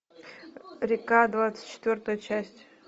река двадцать четвертая часть